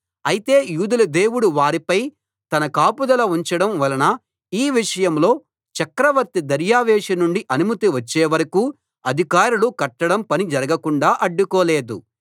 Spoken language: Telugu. అయితే యూదుల దేవుడు వారిపై తన కాపుదల ఉంచడం వలన ఈ విషయంలో చక్రవర్తి దర్యావేషు నుండి అనుమతి వచ్చేవరకూ అధికారులు కట్టడం పని జరగకుండా అడ్డుకోలేదు